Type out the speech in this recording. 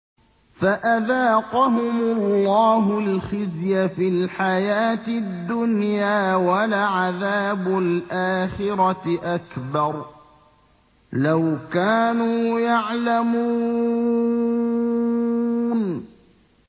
فَأَذَاقَهُمُ اللَّهُ الْخِزْيَ فِي الْحَيَاةِ الدُّنْيَا ۖ وَلَعَذَابُ الْآخِرَةِ أَكْبَرُ ۚ لَوْ كَانُوا يَعْلَمُونَ